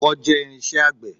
Ọkọ́ jẹ́ irinṣẹ́ àgbẹ̀.